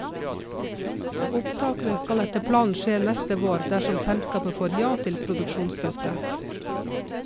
Opptakene skal etter planen skje neste vår, dersom selskapet får ja til produksjonsstøtte.